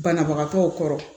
Banabagatɔw kɔrɔ